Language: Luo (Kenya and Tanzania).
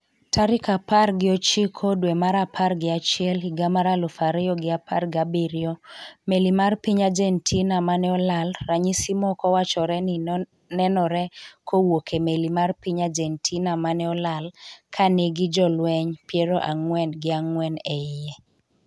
tarik apar gi ochiko dwe mar apar gi achiel higa mar aluf ariyo gi apar gi abiriyo Meli mar piny Argentina mane olal ranyisi moko wachore ni nenore kowuok e meli mar piny Argentina mane olal ka nigi jolweny piero ang'wen gi ang'wen e iye